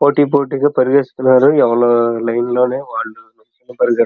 పోటీ పోటీ పరిగెతుతున్నారు ఎవరు లైన్ లో నే వాళ్లు --